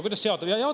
Kuidas see jaotub?